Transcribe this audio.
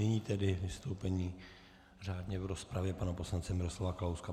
Nyní tedy vystoupení řádně v rozpravě pana poslance Miroslava Kalouska.